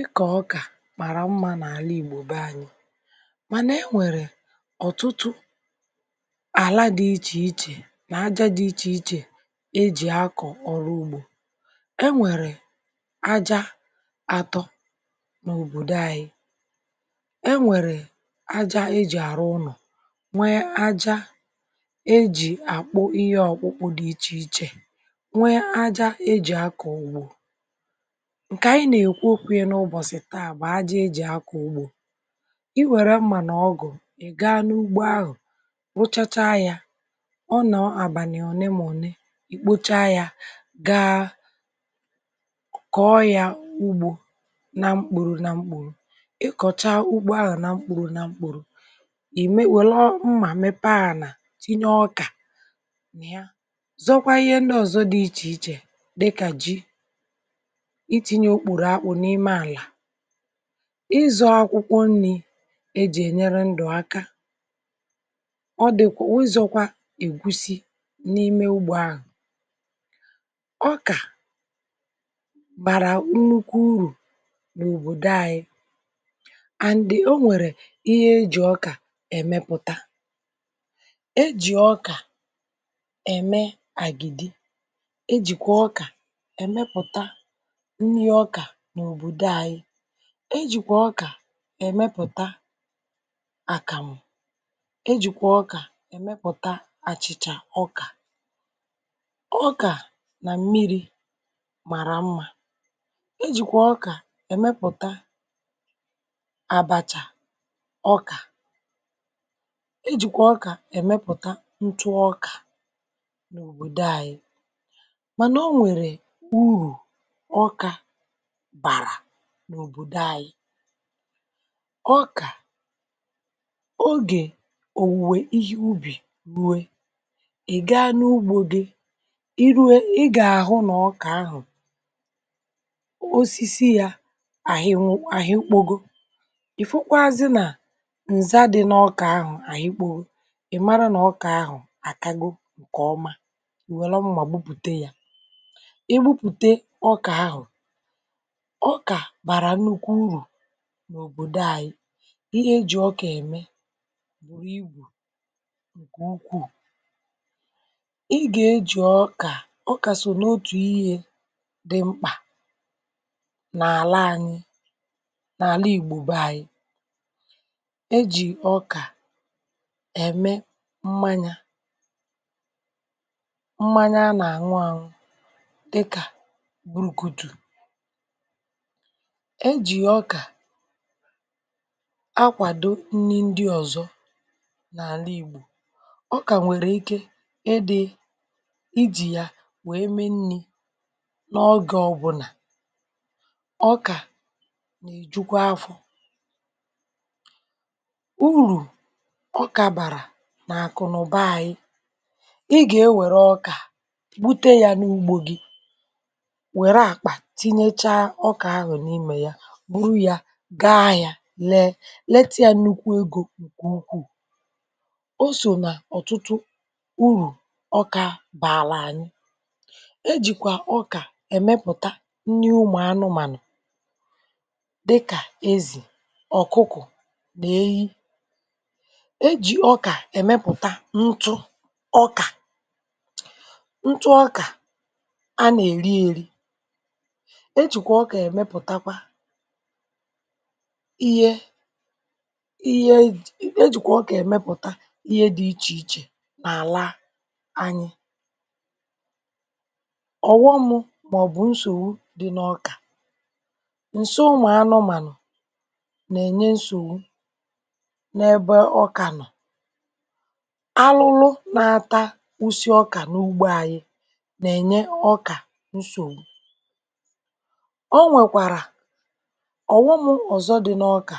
Ikọ̀ ọkà màrà mma n’àlà ìgbò bé anyị̇ mànà e nwèrè ọ̀tụtụ àla dị ichè ichè nà ájá dị ichè ichè éjì akọ̀ ọrụ ugbo. E nwèrè ájá atọ n’òbòdò anyi: é nwèrè àjá éjì àrụ ụnọ̀, nwéé àjá ejì àkpụ ihé ọ̀kpụkpụ dị ichè ichè, nwéé àjȧ ejì akọ̀ ugbo. Nké anyị na-ékwu okwu ya n’ụbọsị tàà bụ ájá éji akọ̀ ugbo. I wèré mmà nà ọgụ̀, ị gaa n’ugbo ahụ̀ rụchacha yá, ọ nọ̀ àbànị̀ ọnẹ mọ̀nẹ ì kpocha yá gaa kọ̀ọ yȧ ugbo na mkpuru na mkpuru ị kọ̀chaa ugbo ahụ̀ na mkpuru na mkpùrù i mé wèlé mmà mépé ànà tinyé ọkà na yá zọkwa ihé ndị ọ̀zọ dị ichè ichè dịkà ji i tinyé okporo akpụ n’imé alà ịzọ̇ akwụkwọ nni̇ jì ènyere ndụ̀ aka ọ dìkwà ụzọ̇kwa ègusi n’imé ugbȯ ahụ. Ọkà bàrà nnukwu urù n’òbòdo anyị̇ and o nwèrè ihé éjì ọkà èmépụ̀ta. Ejì ọkà èmé àgìdì, ejìkwà ọkà èmepụ̀ta nni, ọkà n’obodo anyị, ejikwa ọkà émépụta àkàmụ̀, é jikwa ọkà emepụta àchị̀chà ọkà. Ọkà nà mmiri mara mmȧ. Ejikwa ọkà émépụta àbàchà ọkà, é jikwa ọkà émépụ̀ta ntụ ọkà n’òbòdo àyị. Mànà o nwèrè urù ọkà bàrà n’obodo ànyị. Ọkà ogè òwùwè ihe ubì ruwé i ga n’ugbȯ gi i rué ị gà-àhụ nà ọkà ahụ̀ osisi yȧ àhịnwụ àhịkpogo, ì fụkwazị nà ǹza dị̇ n’ọkà ahụ̀ àhịkpowo ị̀ mara nà ọkà ahụ̀ àkago ǹkè ọma ì welụ mmà gbupùte yá. I kpuputé ọkà ahụ, ọkà bara nnukwu uru n’òbòdo anyị. Ihé éjị̀ ọkà èmé buru igwù ǹkè ukwuu. ḷ gà e jị̀ ọkà ọkà so n’otù ihė dị mkpà n’àla anyị n’àla ìgbo bé anyị. E jị̀ ọkà èmé mmanya mmanya a nà àṅụ àṅụ dịkà burukutù, é jì ọkà akwàdo nni ndị ọ̀zọ n’àla ìgbò, ọkà nwèrè ike edè ijì yà wèe me nni̇ n’ọgọ ọbụ̀nà, ọkà nà-èjukwa afọ. Urù ọkà bàrà nà-àkụnụba anyi; ị gà-ewèré ọkà bute ya n’ugbȯ gi wèré àkpà tinyéchaa ọkà ahụ n’imè yá buru yá gáá ahịȧ léé, létị yá nnukwu egȯ nké ùkwù. O so nà ọ̀tụtụ urù ọkȧ bààlà ànyị. E jìkwà ọkà èmepùta nni ụmụ̀ anụmànụ̀ dịkà ezì, ọ̀kụkụ̀ nà ehi. E jì ọkà èmépụta ntụ ọkà, ntụ ọkà a nà-èri èri. Ihe ihe éjìkwà ọkà èmepụ̀ta ihe dị̇ ichè ichè nà-àla anyị. Ọghọ mụ mà-ọ̀bụ̀ nsòwu dị n’ọkà. Nsọ ụmụ̀anụmànụ̀ nà-ènyé nsòwu n’ébé ọkà nọ̀. Alụlụ nȧ-atà usi ọkà n’ugbo anyị nà-ènye ọkà nsòwu. Onwèkwara ọ̀wọ mụ ọ̀zọ dị n’ọkà,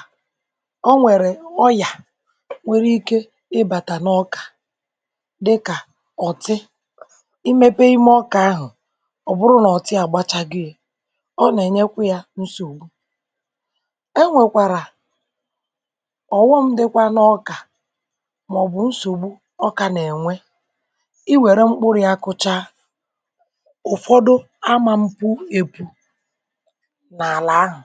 o nwèrè ọyà nwere ike ịbàtà n’ọkà dịkà ọ̀tị: imépéé imé ọkà ahụ̀ ọ bụrụ nà ọ̀tị agbachago yá, ọ nà-ènyekwa y nsògbu. E nwèkwàrà ọ̀ghọm dịkwa n’ọkà mà-ọbụ̀ nsògbu ọkà nà-ènwe, i wèré mkpụrụ ya kụchaa ụ̀fọdụ amȧ mpu épu n’alà ahụ